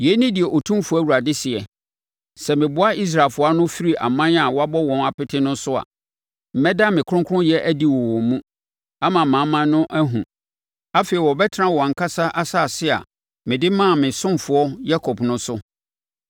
“ ‘Yei ne deɛ Otumfoɔ Awurade seɛ: Sɛ meboa Israelfoɔ ano firi aman a wabɔ wɔn apete no so a, mɛda me kronkronyɛ adi wɔ wɔn mu, ama amanaman no ahunu. Afei wɔbɛtena wɔn ankasa asase a mede maa me ɔsomfoɔ Yakob no so.